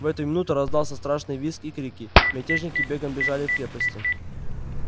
в эту минуту раздался страшный визг и крики мятежники бегом бежали к крепости